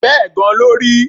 Bẹ́ẹ̀ gan-an ló rí